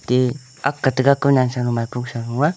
e ank te maipo sa nu a.